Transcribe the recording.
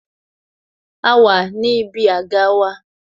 A wà ní ibi àga wa